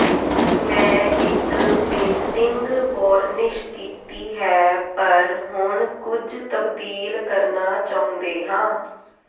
ਮੈਂ ਇੱਕ painting varnish ਕੀਤੀ ਹੈ ਪਰ ਹੁਣ ਕੁਝ ਤਬਦੀਲ ਕਰਨਾ ਚਾਹੁੰਦੇ ਹਾਂ